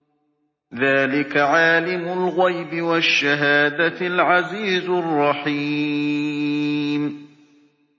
ذَٰلِكَ عَالِمُ الْغَيْبِ وَالشَّهَادَةِ الْعَزِيزُ الرَّحِيمُ